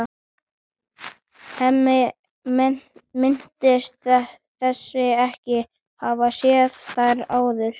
Hemmi minnist þess ekki að hafa séð þær áður.